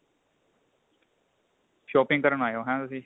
shopping ਕਰਨ ਆਏ ਓ ਹੈ ਤੁਸੀਂ